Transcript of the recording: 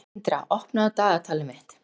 Tindra, opnaðu dagatalið mitt.